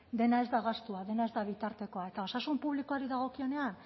dena ez da gastua dena ez da bitartekoa eta osasun publikoari dagokienean